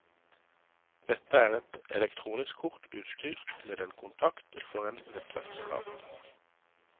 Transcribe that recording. Dette er et elektronisk kort utstyrt med en kontakt for en nettverkskabel.